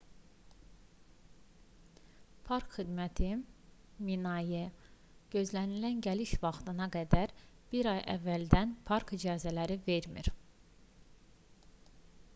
park xidməti minae gözlənilən gəliş vaxtına qədər bir ay əvvəldən park icazələri vermir